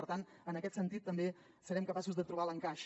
per tant en aquest sentit també serem capaços de trobar l’encaix